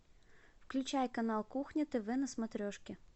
включай канал кухня тв на смотрешке